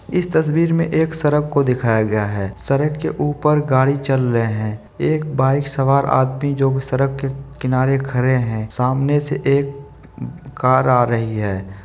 इस तस्वीर में एक सड़क को दिखाया है सड़क के ऊपर गाड़ी चल रहे है एक बाइक सवार आदमी जो सड़क के किनारे खड़े है सामने से एक कार आ रही है।